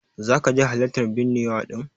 Zaka je halartan binnewa din?